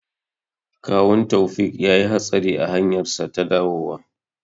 Kawun Taufiq yayi hatsari a hanyarsa ta dawowa.